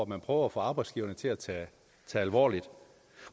man prøver at få arbejdsgiverne til at tage alvorligt